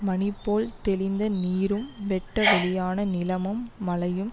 மணி போல் தெளிந்த நீரும் வெட்ட வெளியான நிலமும் மலையும்